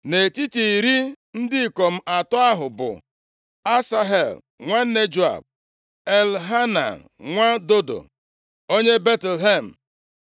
Nʼetiti iri ndị ikom atọ ahụ bụ: Asahel, nwanne Joab, Elhanan nwa Dodo, onye Betlehem